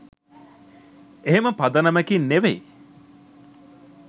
එහෙම පදනමකින් නෙවෙයි.